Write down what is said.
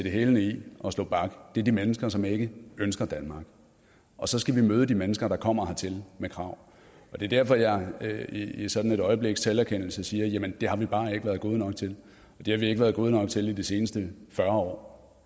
hælene i og slå bak er i de mennesker som ikke ønsker danmark og så skal vi møde de mennesker der kommer hertil med krav og det er derfor at jeg i sådan et øjebliks selverkendelse siger at det har vi bare ikke været gode nok til det har vi ikke været gode nok til i de seneste fyrre år